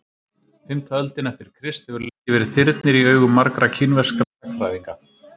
fimmta öldin eftir krist hefur lengi verið þyrnir í augum margra kínverskra sagnfræðinga